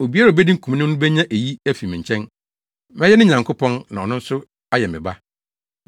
Obiara a obedi nkonim no benya eyi afi me nkyɛn. Mɛyɛ ne Nyankopɔn na ɔno nso ayɛ me ba.